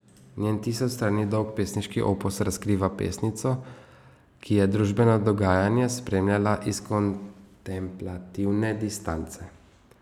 Njen tisoč strani dolg pesniški opus razkriva pesnico, ki je družbeno dogajanje spremljala iz kontemplativne distance.